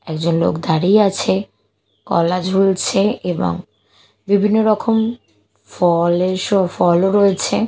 একজন লোক দাঁড়িয়ে আছে কলা ঝুলছে এবং বিভিন্ন রকম ফলের সো ফলও রয়েছে।